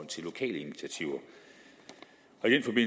til lokale initiativer